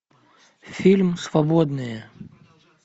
фильм свободные